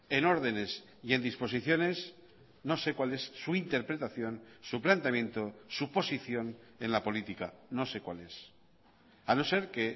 en ordenes y en disposiciones no sé cuál es su interpretación su planteamiento su posición en la política no sé cuál es a no ser que